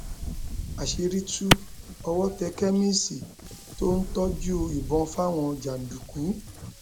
àṣírí tú owó tẹ kẹmíìsì tó ń tọjú ìbọn fáwọn jàǹdùkú